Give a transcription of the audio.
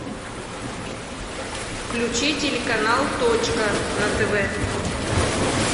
включи телеканал точка на тв